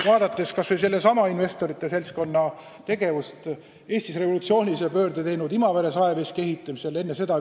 Vaadakem kas või sellesama investorite seltskonna tegevust Eestis revolutsioonilise pöörde kaasa toonud Imavere saeveski ehitamisel!